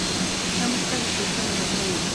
самый сказочный александр роу